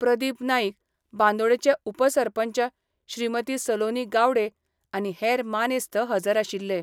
प्रदीप नाईक, बांदोडेचे उपसरपंच श्रीमती सलोनी गावडे आनी हेर मानेस्त हजर आशिल्ले.